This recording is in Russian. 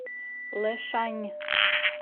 лэшань